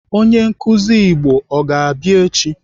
Onye nkụzi Igbo ọ ga-abịa echi?